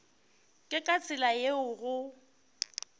ke ka tsela yeo go